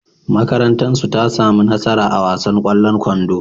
Makarantarsu ta sami nasara a wasan ƙwallon kwando.